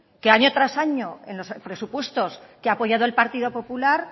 que año tras año en los presupuestos que ha apoyado el partido popular